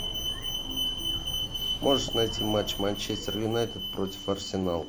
можешь найти матч манчестер юнайтед против арсенал